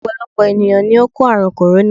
Ọ̀pọ̀lọpọ̀ ènìyàn ni ó kò àrùn "corona"